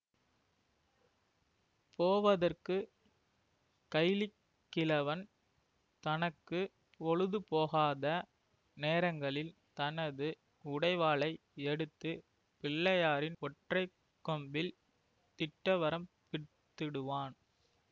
போவதற்கு கைலிக் கிழவன் தனக்கு பொழுதுபோகாத நேரங்களில் தனது உடைவாளை எடுத்து பிள்ளையாரின் ஒற்றை கொம்பில் திட்டவரம்பித்துவிடுவான்